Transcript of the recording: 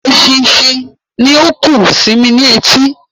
Eṣinṣin ni ó ń kùn sí mí ní etí